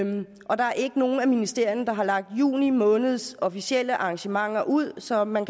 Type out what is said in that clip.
og der er ikke nogen af ministerierne der har lagt juni måneds officielle arrangementer ud så man